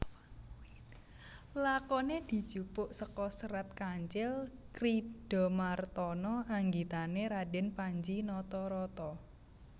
Lakoné dijupuk seka Serat Kancil Kridhamartana anggitané Radèn Panji Natarata